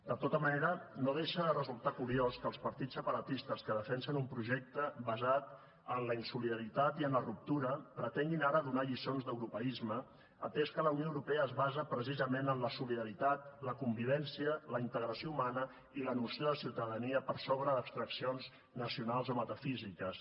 de tota manera no deixa de resultar curiós que els partits separatistes que defensen un projecte basat en la insolidaritat i en la ruptura pretenguin ara donar lliçons d’europeisme atès que la unió europea es basa precisament en la solidaritat la convivència la integració humana i la noció de ciutadania per sobre d’abstraccions nacionals o metafísiques